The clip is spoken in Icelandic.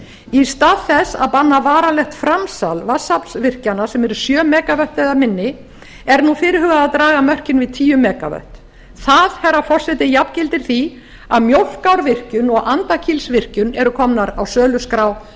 í stað þess að banna varanlegt framsal vatnsaflsvirkjana sem eru sjö mega vöttum eða minni er nú fyrirhugað að draga mörkin við tíu mega vöttum það herra forseti jafngildir því að mjólkárvirkjun og andakílsvirkjun eru komnar á söluskrá